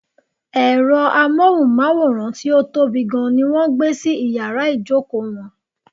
Ẹ̀rọ amóhùnmáwòrán tí ó tóbi gan ní wọ́n gbé sí iyàrá ìjókò wọn.